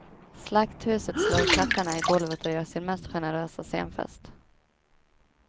Slagthuset slår klackarna i golvet och gör sin mest generösa scenfest.